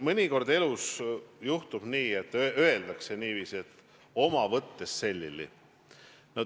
Mõnikord elus juhtub nii, et oled oma võttest selili – öeldakse niiviisi.